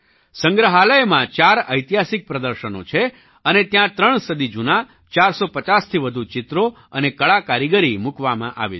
સંગ્રહાલયમાં ચાર ઐતિહાસિક પ્રદર્શનો છે અને ત્યાં ત્રણ સદી જૂનાં 450થી વધુ ચિત્રો અને કળાકારીગરી મૂકવામાં આવી છે